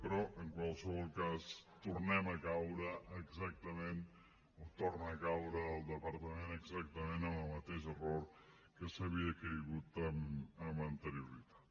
però en qualsevol cas tornem a caure exactament o torna a caure el departament exactament en el mateix error en què s’havia caigut amb anterioritat